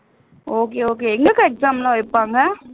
okay okay எங்கக்கா exam எல்லாம் வைப்பாங்க